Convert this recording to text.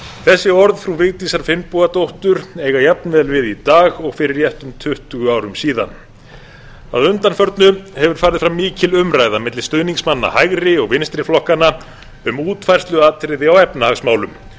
þessi orð frú vigdísar finnbogadóttur eiga jafnvel við í dag og fyrir réttum tuttugu árum síðan að undanförnu hefur farið fram mikil umræða milli stuðningsmanna hægri og vinstri flokkanna um útfærsluatriði á efnahagsmálum